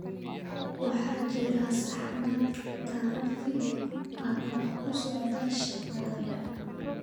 Waxaa jira saxmad taraafig ah oo ku socda shaqadayda